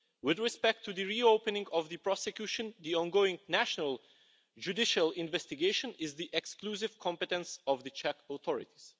With respect to the reopening of the prosecution, the ongoing national judicial investigation is the exclusive competence of the Czech authorities.